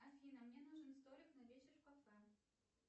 афина мне нужен столик на вечер в кафе